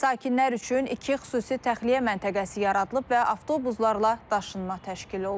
Sakinlər üçün iki xüsusi təxliyə məntəqəsi yaradılıb və avtobuslarla daşınma təşkil olunub.